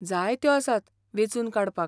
जायत्यो आसात वेंचून काडपाक.